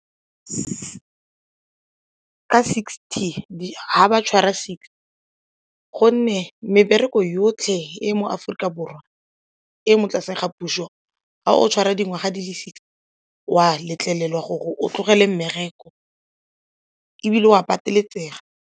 Ka sixty, ga ba tshwara six gonne mebereko yotlhe e mo Aforika Borwa e mo tlase ga puso ga o tshware dingwaga di le sixty wa letlelelwa gore o tlogele mmereko ebile o a pateletsega.